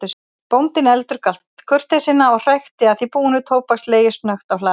Bóndinn endurgalt kurteisina og hrækti að því búnu tóbakslegi snöggt á hlaðið.